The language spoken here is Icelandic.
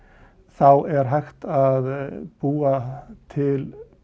þá er hægt að búa til